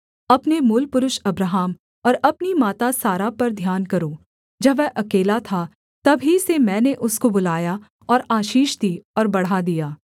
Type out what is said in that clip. अपने मूलपुरुष अब्राहम और अपनी माता सारा पर ध्यान करो जब वह अकेला था तब ही से मैंने उसको बुलाया और आशीष दी और बढ़ा दिया